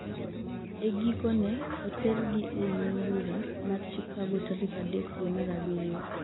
e giko ne oter gi e nyim bura mar chicago tarik adek dwe mar abiriyo